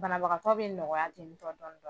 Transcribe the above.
Bagakaw bɛ nɔgɔya tenintɔ dɔɔnin dɔɔnin.